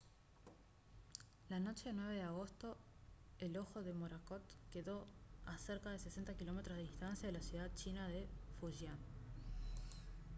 la noche del 9 de agosto el ojo de morakot quedó a cerca de 60 km de distancia de la ciudad china de fujian